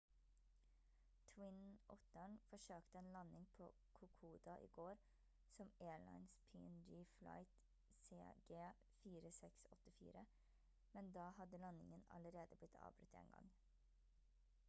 twin otteren forsøkte en landing på kokoda i går som airlines png flight cg4684 men da hadde landingen allerede blitt avbrutt en gang